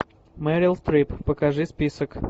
мерил стрип покажи список